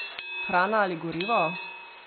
Hrana ali gorivo?